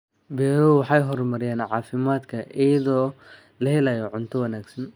Beeruhu waxay horumariyaan caafimaadka iyada oo la helayo cunto wanaagsan.